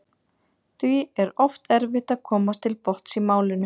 Því er oft erfitt að komast til botns í málinu.